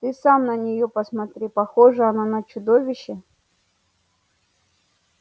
ты сам на нее посмотри похожа она на чудовище